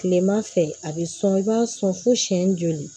Kilema fɛ a be sɔn i b'a sɔn fo siyɛn joli